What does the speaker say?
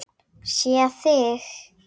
Sé þig.